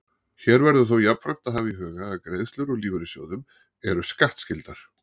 Hér verður þó jafnframt að hafa í huga að greiðslur úr lífeyrissjóðum eru skattskyldar.